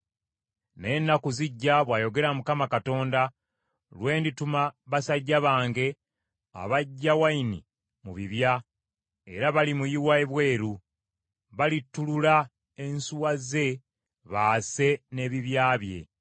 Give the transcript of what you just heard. Naye ennaku zijja,” bw’ayogera Mukama Katonda, “lwe ndituma basajja bange abaggya wayini mu bibya, era balimuyiwa ebweru; balittulula ensuwa ze baase n’ebibya bye.